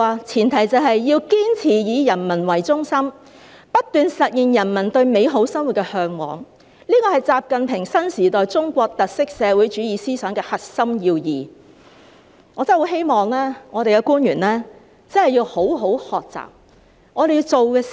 前提是，要堅持以人為中心，不斷實現人民對美好生活的嚮往，這是習近平新時代中國特色社會主義思想的核心要義，我真的很希望我們的官員真的要好好學習。